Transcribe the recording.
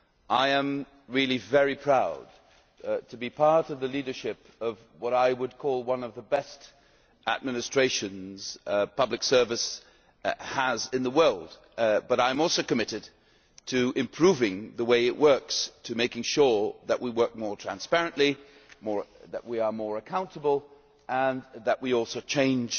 I am really very proud to be part of the leadership of what I would call one of the best administrations public service has in the world. But I am also committed to improving the way it works, to making sure that we work more transparently, that we are more accountable and that we also change